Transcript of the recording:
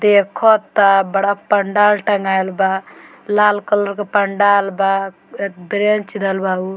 देख ता बड़ा पंडाल तंगाइल बा लाल कलर के पंडाल बा अ बेंच धइल बा उ।